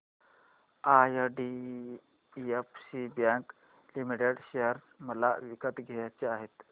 IDFC bank limited share मला विकत घ्यायचे आहेत